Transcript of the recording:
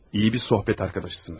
Yaxşı bir söhbət yoldaşısınız.